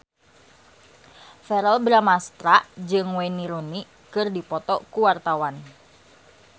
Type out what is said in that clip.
Verrell Bramastra jeung Wayne Rooney keur dipoto ku wartawan